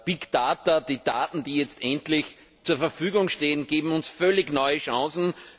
Big Data, die Daten, die jetzt endlich zur Verfügung stehen, geben uns völlig neue Chancen.